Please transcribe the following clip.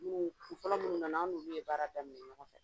Kuŋoo kun fɔlɔ minnu nana an n'olu ye baara daminɛ ɲɔgɔn fɛ.